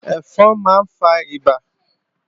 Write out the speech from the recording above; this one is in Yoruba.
Ẹ̀fọn máa ń fa ìbà